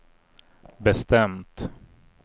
bestämt